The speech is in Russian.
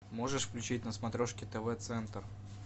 можешь включить на смотрешке тв центр